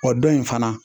Wa dɔ in fana